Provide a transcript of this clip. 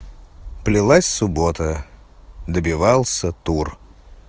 плелась суббота добивался тур